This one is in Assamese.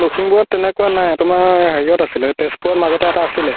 লখিমপুৰত তুমাৰ সেনেকুৱা নাই তুমাৰ হেৰিহত আছিলে তেজপুৰত মাজতে এটা আছিলে